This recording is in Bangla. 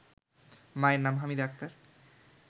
মায়ের নাম হামিদা আক্তার